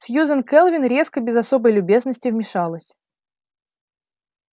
сьюзен кэлвин резко без особой любезности вмешалась